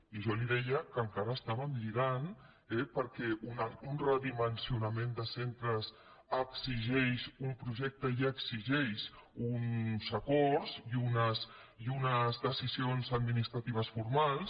i jo li deia que encara lligàvem eh perquè un redimensionament de centres exigeix un projecte i exigeix uns acords i unes decisions administratives formals